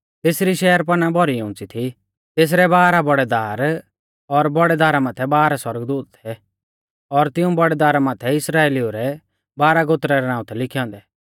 तेसरी शहरपनाह भौरी उंच़ी थी तेसरै बाराह बौड़ै दार और बौड़ै दारा माथै बाराह सौरगदूत थै और तिऊं बौड़ै दारा माथै इस्राइलिऊ रै बाराह गोत्रा रै नाऊं थै लिखै औन्दै